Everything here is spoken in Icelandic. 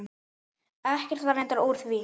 Ekkert var reyndar úr því.